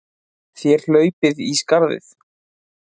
Þér hlaupið í skarðið!